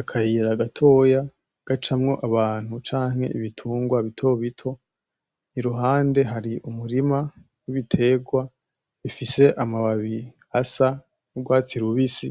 Akayira gatoya gacamwo Abantu, canke ibitungwa bitobito iruhande hari umurima w'ibiterwa bifise amababi asa n'urwatsi rubisi,